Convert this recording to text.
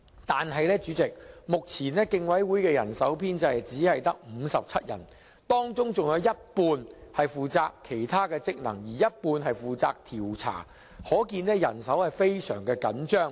可是，代理主席，競委會目前的人手編制只有57人，當中更有一半人手負責其他職能，另一半負責調查，可見人手非常緊張。